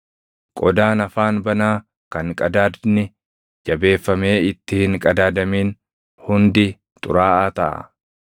qodaan afaan banaa kan qadaadni jabeeffamee itti hin qadaadamin hundi xuraaʼaa taʼa.